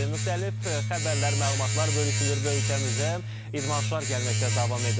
Müxtəlif xəbərlər, məlumatlar bölüşülür və ölkəmizə idmançılar gəlməkdə davam edirlər.